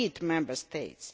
Member States.